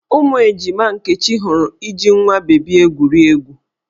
Ụmụ ejima Nkechi hụrụ iji nwa bebi egwuri egwu.